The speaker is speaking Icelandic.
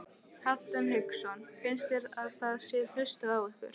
Hafsteinn Hauksson: Finnst þér að það sé hlustað á ykkur?